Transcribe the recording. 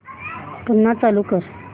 पुन्हा चालू कर